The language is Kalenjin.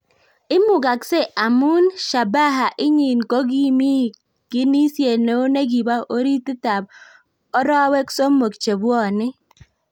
imugaksei amun shabaha inyin kogimi kinisiet neo negipo oritit ap orowek somok chepwonei